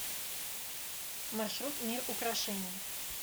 маршрут мир украшений